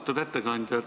Austatud ettekandja!